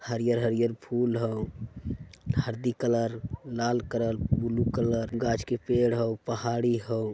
हरीयल हरियल फुल हउ हल्दी कलर लाल कलर ब्लू कलर गाछ के पेड़ हउ पहाड़ी हउ ।